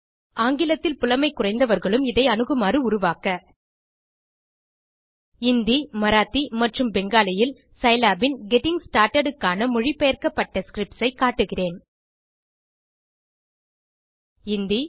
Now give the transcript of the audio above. ஆங்கிலத்தில் புலமை குறைந்தவர்களும் இதை அணுகுமாறு உருவாக்க இந்தி மராத்தி மற்றும் பெங்காலியில் சிலாப் ன் கெட்டிங் ஸ்டார்ட்டட் க்கான மொழிபெயர்க்கப்பட்ட ஸ்கிரிப்ட்ஸ் ஐ காட்டுகிறேன் இந்தி